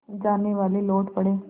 जानेवाले लौट पड़े